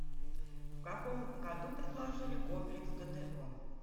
в каком году предложили комплекс гто